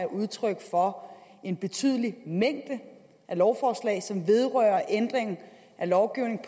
udtryk for en betydelig mængde lovforslag som vedrører ændringer af lovgivningen